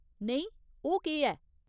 नेईं ओह् केह् ऐ ?